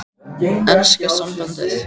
Enska sambandið?